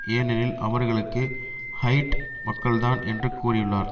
ஏனெனில் அவர்களும் ஹைட் மக்கள் தான் என்று கூறியுள்ளார்